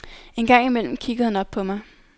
Engang imellem kiggede han op på mig.